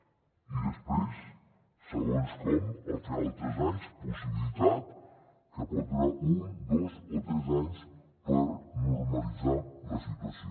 i després segons com al final dels tres anys possibilitat que pot durar un dos o tres anys per normalitzar la situació